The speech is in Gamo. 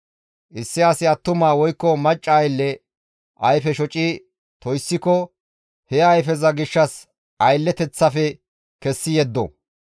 «Issi asi attuma woykko macca aylle ayfe shoci toyssiko he ayfeza gishshas aylleteththafe kessi yeddo.